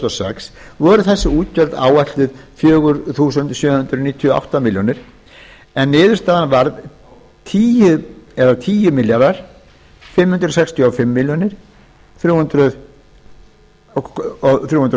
sex voru þessi útgjöld áætluð fjögur þúsund sjö hundruð níutíu og átta komma núll milljónir króna en niðurstaðan varð tíu þúsund fimm hundruð sextíu og fimm komma þremur milljónum